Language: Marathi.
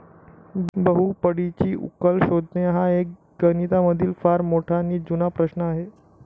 बहुपडीची उकल शोधणे हा एक गणितामधील फार मोठा नी जूना प्रश्न आहे.